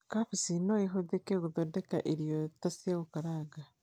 Kambĩji no ĩhũthĩke gũthondeka irio ta cia gũkaranga